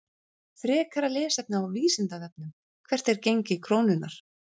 Frekara lesefni á Vísindavefnum: Hvert er gengi krónunnar?